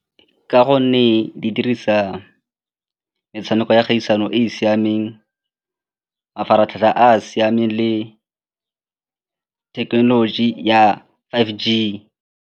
Ka gonne di dirisa metshameko ya kgaisano e e siameng, mafaratlhatlha a a siameng le thekenoloji ya five G.